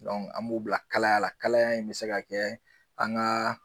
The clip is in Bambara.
an m'u bila kalayala kalaya in bɛ se ka kɛ an ka